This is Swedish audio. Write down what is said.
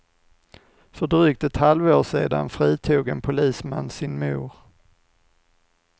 För drygt ett halvår sedan fritog en polisman sin mor.